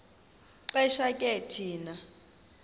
xesha ke thina